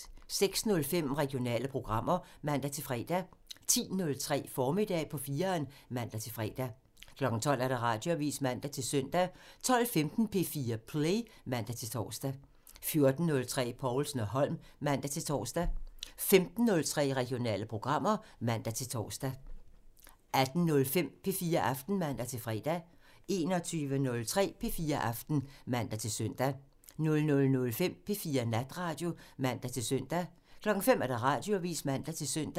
06:05: Regionale programmer (man-fre) 10:03: Formiddag på 4'eren (man-fre) 12:00: Radioavisen (man-søn) 12:15: P4 Play (man-tor) 14:03: Povlsen & Holm (man-tor) 15:03: Regionale programmer (man-tor) 18:05: P4 Aften (man-fre) 21:03: P4 Aften (man-søn) 00:05: P4 Natradio (man-søn) 05:00: Radioavisen (man-søn)